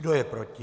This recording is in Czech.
Kdo je proti?